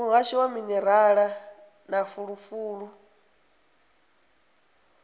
muhasho wa minerala na fulufulu